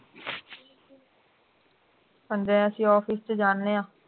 ਤੇ ਹੁਣ ਜਿਵੇਂ ਅਸੀਂ office ਚ ਜਾਨੇ ਆਂ